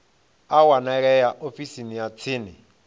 a wanalea ofisini ya tsini